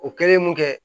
O kɛlen mun kɛ